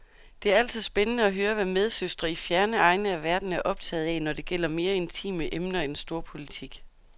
Det er altid spændende at høre, hvad medsøstre i fjerne egne af verden er optaget af, når det gælder mere intime emner end storpolitik.